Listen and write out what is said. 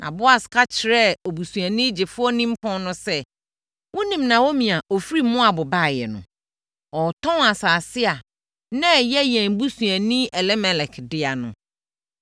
Na Boas ka kyerɛɛ obusuani gyefoɔ nimpɔn no sɛ, “Wonim Naomi a ɔfiri Moab baeɛ no. Ɔretɔn asase a na ɛyɛ yɛn busuani Elimelek dea no.